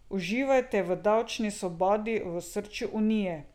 Uživajte v davčni svobodi v osrčju Unije.